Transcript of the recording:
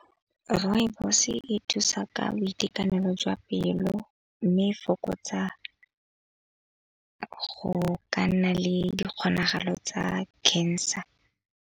Rooibos e thusa ka boitekanelo jwa pelo, mme e fokotsa go ka nna le di kgonagalo tsa cancer.